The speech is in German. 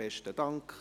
Besten Dank.